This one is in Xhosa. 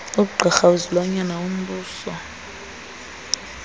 ugqirha wezilwanyana wombuso